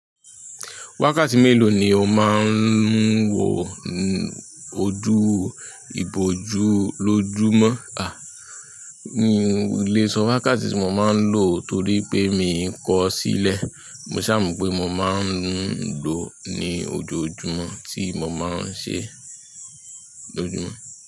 Wákàtí mélòó ni o máa ń wò ojú ìbòjú lójúmọ́? A, míì le sọ wákàtí tí mo máa ń lò torí pé miì kọ sílẹ̀. Mo sàa mọ̀n pé mo máa ń lo ní ojoojúmọ́ tí mo máa ń ṣẹ lójúmọ́.